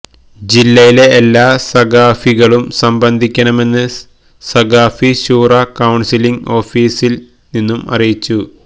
ജില്ലയിലെ എല്ലാ സഖാഫികളും സംബന്ധിക്കണമെന്ന് സഖാഫി ശൂറ കൌണ്സില് ഓഫീസില് നിന്നും അറിയിച്ചു